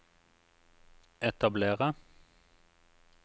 etablere